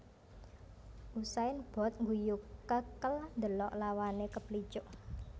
Usain Bolt ngguyu kekel ndelok lawane keplicuk